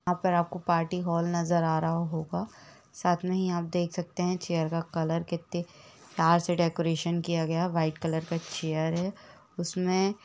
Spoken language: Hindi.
यह पर आपको पार्टी हॉल नज़र आ रहा होगा साथ में ही आप देख सकते है कि चेयर का कलर कितनी प्यार से डेकोरेशन किया गया है वाइट कलर का चेयर हैं कलर चेयर हैं। उसमे --